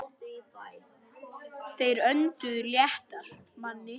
Þeir önduðu léttar.